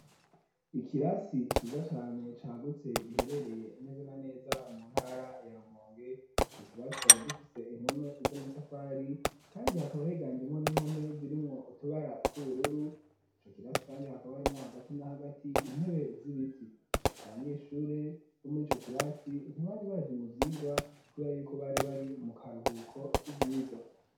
Ikirasi ciza cane cagutse giherereye neza na neza mu ntara ya Rumonge. Ico kirasi kikaba gifise impome z'amatafari kandi hakaba higanjemwo n'impome zirimwo utubara tw'ubururu. Ico kirasi kandi hakaba harimwo hagati na hagati intebe z'ibiti. Abanyeshuri bo muri ico kirasi ntibari baje mu vyigwa kubera yuko bari bari mu karuhuko k'ivyigwa.